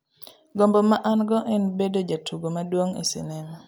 Gombo ma an-go en bedo jatugo maduong' e sinema.